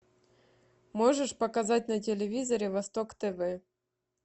можешь показать на телевизоре восток тв